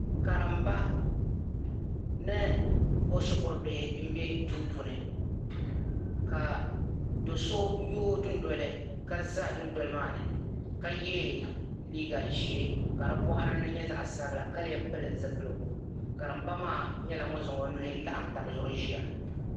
Karimba ni o shikuru bihi bɛ duu puuni ka do'so yooi dundoli ka za dundoli maani ka ye liiga ʒee ka di bɔɣiri ni nyɛ zaɣ'sabila ka leei pili zupiligu karimba maa nyɛla ŋuni zaŋ o nuhi laɣim taba zuɣu ʒiya.